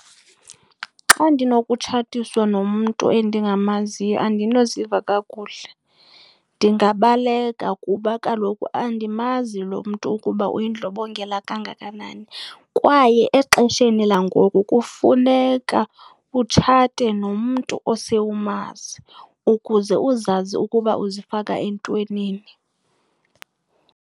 Xa ndinokutshatiswa nomntu endingamaziyo andinoziva kakuhle. Ndingabaleka kuba kaloku andimazi lo mntu ukuba uyindlobongela kangakanani. kKaye nexesheni langoku kufuneka utshate nomntu osewumazi ukuze uzazi ukuba uzifaka entwenini